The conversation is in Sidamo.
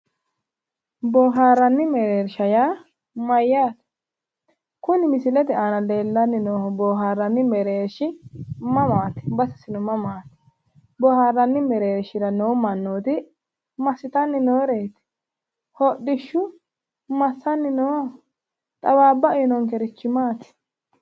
boohaarranni mereersha yaa mayyaate? kuni misilete aaana leellanni noohu boohaarranni meereershi mamaati? basesino mamaati? boohaarranni mereershira noo mannooti massitanni nooreeti? hodhishshu massanni nooho xawaabba uyiinonkerichi maati?